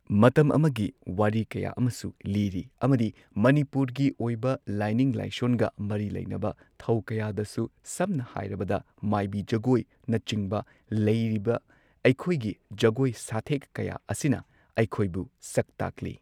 ꯃꯇꯝ ꯑꯃꯒꯤ ꯋꯥꯔꯤ ꯀꯌꯥ ꯑꯃꯁꯨ ꯂꯤꯔꯤ ꯑꯃꯗꯤ ꯃꯅꯤꯄꯨꯔꯒꯤ ꯑꯣꯏꯕ ꯂꯥꯏꯅꯤꯡ ꯂꯥꯏꯁꯣꯟꯒ ꯃꯔꯤ ꯂꯩꯅꯕ ꯊꯧ ꯀꯌꯥꯗꯁꯨ ꯁꯝꯅ ꯍꯥꯏꯔꯕꯗ ꯃꯥꯏꯕꯤ ꯖꯒꯣꯏꯅꯆꯤꯡꯕ ꯂꯩꯔꯤꯕ ꯑꯩꯈꯣꯏꯒꯤ ꯖꯒꯣꯏ ꯁꯥꯊꯦꯛ ꯀꯌꯥ ꯑꯁꯤꯅ ꯑꯩꯈꯣꯏꯕꯨ ꯁꯛ ꯇꯥꯛꯂꯤ꯫